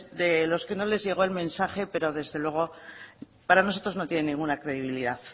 de los que no les llegó el mensaje pero desde luego para nosotros no tiene ninguna credibilidad